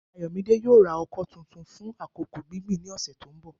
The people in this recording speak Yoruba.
Ayomide yoo ra oko tuntun fun akoko gbingbin ni ọsẹ to nbọ